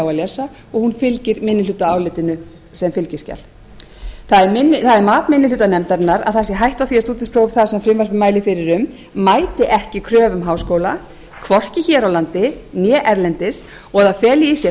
að lesa og hún fylgir minnihlutaálitinu sem fylgiskjal það er mat minni hluta nefndarinnar að það sé hætta á því að stúdentspróf það sem frumvarpið mælir fyrir um mæti ekki kröfum háskóla hvorki hér á landi né erlendis og það feli í sér